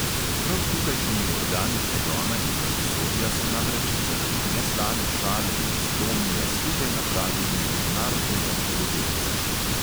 Prav tukajšnji organi pregona in pravosodja so namreč zaradi neslane šale iz tomija sluge napravili mednarodnega hudodelca.